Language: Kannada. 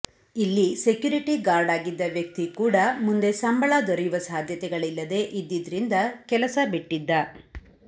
ಇಲ್ಲಿ ಸೆಕ್ಯೂರಿಟಿ ಗಾರ್ಡ್ ಆಗಿದ್ದ ವ್ಯಕ್ತಿ ಕೂಡ ಮುಂದೆ ಸಂಬಳ ದೊರೆಯುವ ಸಾಧ್ಯತೆಗಳಿಲ್ಲದೇ ಇದ್ದಿದ್ರಿಂದ ಕೆಲಸ ಬಿಟ್ಟಿದ್ದ